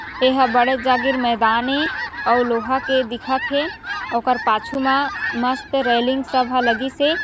ए ह बड़े जागीर मैदान ए अउ लोहा के दिखत हे आऊ ओकर पाछु मा मस्त रेलिंग सब ह लगीस हे।